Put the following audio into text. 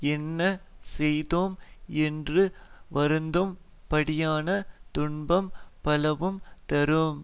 என்ன செய்தோம் என்று வருந்தும் படியான துன்பம் பலவும் தரும்